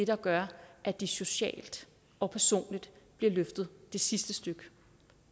der gør at de socialt og personligt bliver løftet det sidste stykke